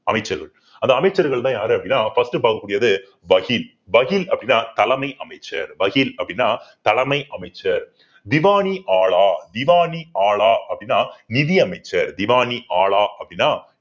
அமைச்சர்கள் அந்த அமைச்சர்கள்தான் யாரு அப்படின்னா first பார்க்கக்கூடியது அப்படின்னா தலைமை அமைச்சர் அப்படின்னா தலைமை அமைச்சர் திவானி ஆலா திவானி ஆலா அப்படின்னா நிதி அமைச்சர் திவானி ஆலா அப்படின்னா